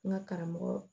N ka karamɔgɔ